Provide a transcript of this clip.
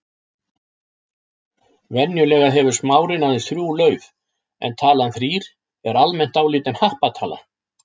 Venjulega hefur smárinn aðeins þrjú lauf en talan þrír er almennt álitin happatala.